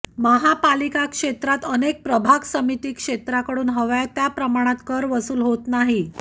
महापालिका क्षेत्रात अनेक प्रभाग समिती क्षेत्रातून हव्या त्या प्रमाणात कर वसूल होत नाही